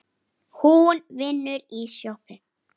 Hún vinnur í sjoppu